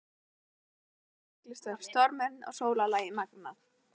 Portrettið af þér er athyglisvert- stormurinn og sólarlagið magnað.